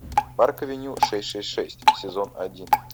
парк авеню шесть шесть шесть сезон один